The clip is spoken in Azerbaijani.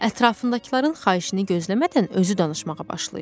Ətraflarındakıların xahişini gözləmədən özü danışmağa başlayırdı.